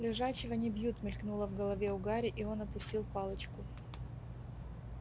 лежачего не бьют мелькнуло в голове у гарри и он опустил палочку